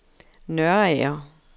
Nørager